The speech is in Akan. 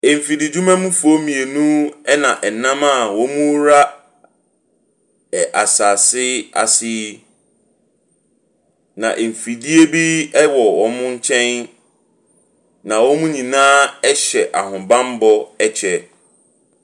Mfididwuma mufoɔ mmienu na wɔnam a wɔrewura ɛɛ asase ase yi. Na mfidie bi wɔ wɔn nkyɛn, na wɔn nyinaa hyɛ ahobammɔ kyɛ.